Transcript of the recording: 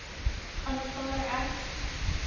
aanvaar ek